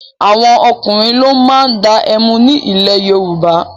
Àwọn ọkùnrin ló máa ń dá ẹmu ní ilẹ̀ Yorùbá.